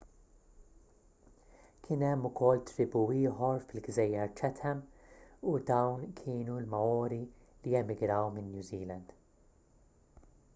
kien hemm ukoll tribù ieħor fil-gżejjer chatham u dawn kienu l-maori li emigraw minn new zealand